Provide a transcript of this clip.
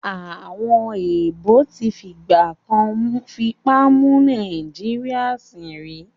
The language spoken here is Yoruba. Àwọn èèbó tí fìgbà kan fipá mú Nàìjíríyà sìn rí